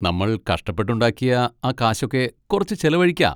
നമ്മൾ കഷ്ടപ്പെട്ടുണ്ടാക്കിയ ആ കാശൊക്കെ കുറച്ച് ചിലവഴിക്കാ.